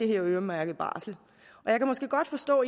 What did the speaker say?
her øremærkede barsel jeg kan måske godt forstå